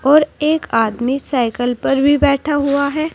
और एक आदमी साइकिल पर भी बैठा हुआ है।